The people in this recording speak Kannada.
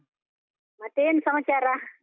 ಮತ್ತೆ ಏನ್ ಸಮಾಚಾರ?